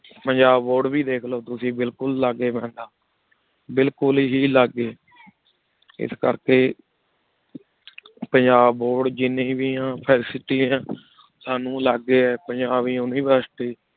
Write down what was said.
Punjab board ਵੇ ਦੇਖ ਲੋ ਤੁਸੀਂ ਬਿਲਕੁਲ ਲਗੀ ਬਨਯ ਬਿਲਕੁਲ ਹੇ ਲਗੀ ਇਸ ਕਰ ਕੀ ਪੰਜਾਬ ਬੋਰਡ ਜਿਨੀ ਵੇ ਆ ਸਾਨੂ ਲਗੀ ਪੰਜਾਬ university